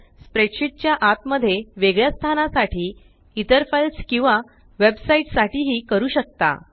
spreadsheet च्या आत मध्ये वेगळ्या स्थानासाठी इतर फाइल्स किंवा वेब साइट्स साठी ही करू शकता